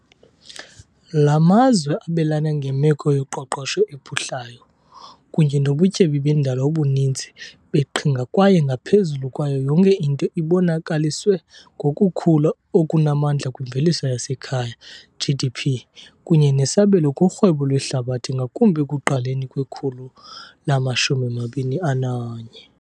La mazwe abelana ngemeko yoqoqosho ephuhlayo kunye nobutyebi bendalo obuninzi beqhinga kwaye, ngaphezu kwayo yonke into, ibonakaliswe ngokukhula okunamandla kwimveliso yasekhaya, GDP, kunye nesabelo kurhwebo lwehlabathi, ngakumbi ekuqaleni kwekhulu lama-21.